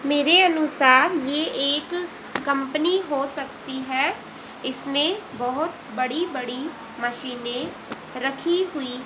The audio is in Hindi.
मेरे अनुसार यह एक कंपनी हो सकती है। इसमें बहुत बड़ी बड़ी मशीने रखी हुई--